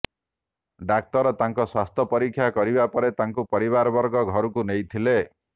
ଡାକ୍ତର ତାଙ୍କ ସ୍ୱାସ୍ଥ୍ୟ ପରୀକ୍ଷା କରିବା ପରେ ତାଙ୍କୁ ପରିବାରବର୍ଗ ଘରକୁ ନେଇଥିଲେ